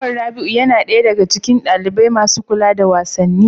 Umar Rabi'u yana ɗaya daga cikin ɗalibai masu kula da wasanni.